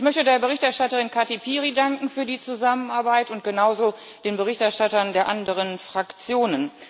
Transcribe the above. Ich möchte der Berichterstatterin Kati Piri danken für die Zusammenarbeit und genauso den Berichterstattern der anderen Fraktionen.